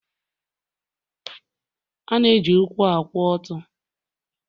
A na-eji ụkwụ akwụ ọtọ